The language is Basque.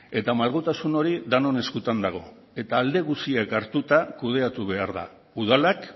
eta malgutasun hori denon eskutan dago eta alde guztiak hartuta kudeatu behar da udalak